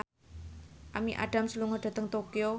Amy Adams lunga dhateng Tokyo